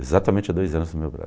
Exatamente há dois anos no meu